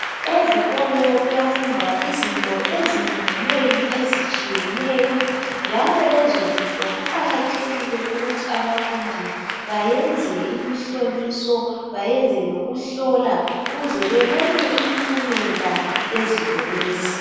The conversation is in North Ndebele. Ezikolo kuyafundwa izinto ezinenginengi ezitshiyeneyo njalo lezo zinto kuqakathekile ukuthi abafundi bayenze imihloliso bayenze lokuhlola ukuze bebone impumela yezinto lezi.